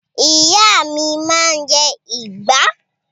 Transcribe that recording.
Ìyá mi máa ń jẹ ìgbá.